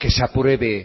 se apruebe